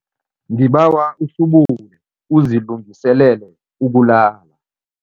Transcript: Ngibawa uhlubule uzilungiselele ukulala.